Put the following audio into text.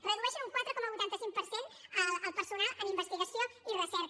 redueixen un quatre coma vuitanta cinc per cent el personal en investigació i recerca